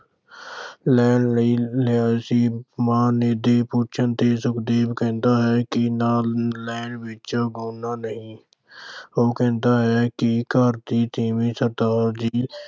ਲੈਣ ਲਈ ਕਿਹਾ ਸੀ। ਮਾਂ ਦੇ ਪੁੱਛਣ ਤੇ ਸੁਖਦੇਵ ਕਹਿੰਦਾ ਹੈ ਕਿ ਨਾਮ ਲੈਣ ਵਿੱਚ ਨਹੀਂ। ਉਹ ਕਹਿੰਦਾ ਹੈ ਕਿ ਘਰ ਦੀ ਤੀਵੀਂ